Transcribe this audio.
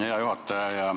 Hea juhataja!